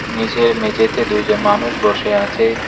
নীচের মেঝেতে দুইজন মানুষ বসে আছে।